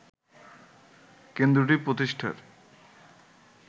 কেন্দ্রটি প্রতিষ্ঠার